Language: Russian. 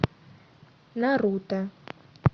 наруто